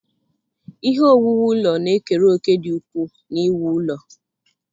Ihe owuwu ụlọ na-ekere òkè dị ukwuu n'iwu ụlọ.